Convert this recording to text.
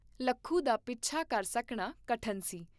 ਲੱਖੂ ਦਾ ਪਿੱਛਾ ਕਰ ਸਕਣਾ ਕਠਨ ਸੀ।